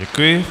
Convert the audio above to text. Děkuji.